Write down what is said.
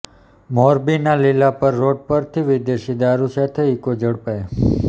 મોરબીના લીલાપર રોડ પરથી વિદેશી દારૂ સાથે ઇકો ઝડપાઇ